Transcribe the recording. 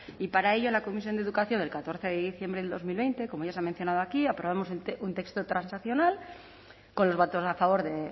y para ello en la comisión de educación del catorce de diciembre del dos mil veinte como ya se ha mencionado aquí aprobamos un texto transaccional con los votos a favor de